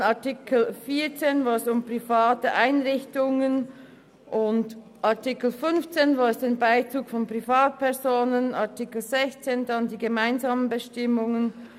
In Artikel 14 geht es um private Einrichtungen, in Artikel 15 um den Bezug von Privatpersonen und in Artikel 16 um die gemeinsamen Bestimmungen.